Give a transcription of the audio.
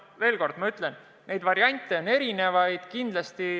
Veel kord ma ütlen: variante on erinevaid.